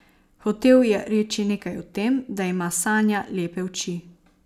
Hotel je reči nekaj o tem, da ima Sanja lepe oči.